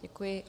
Děkuji.